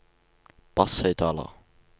basshøyttaler